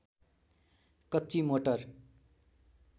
कच्ची मोटर